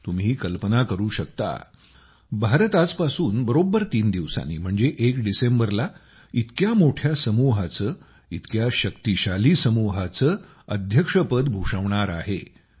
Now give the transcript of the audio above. तुम्ही कल्पना करू शकता भारत आजपासून बरोबर 3 दिवसांनी म्हणजे 1 डिसेंबरला इतक्या मोठ्या समूहाचे इतक्या शक्तिशाली समूहाचे अध्यक्षपद भूषवणार आहे